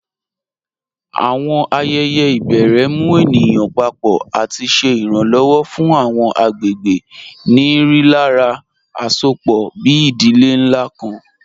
Awọn ayẹyẹ ibèrè mù ènìyàn pàpọ̀ àti ṣè iranlọwọ̀ fún awọn agbegbe ni rílàrá àṣọpọ̀, bí ìdílé nlá kàn.